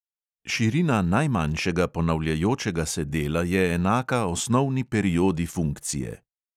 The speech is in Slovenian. Širina najmanjšega ponavljajočega se dela je enaka osnovni periodi funkcije.